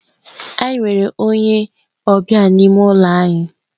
Anyị nwere onye ọbịa n'ime ụlọ anyị.